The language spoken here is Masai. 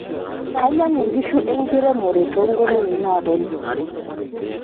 kainyangu nkshu enkiremore tongolongi naaponu